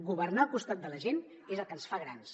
governar al costat de la gent és el que ens fa grans